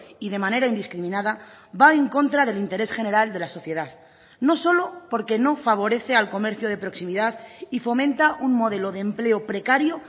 y de manera indiscriminada va en contra del interés general de la sociedad no solo porque no favorece al comercio de proximidad y fomenta un modelo de empleo precario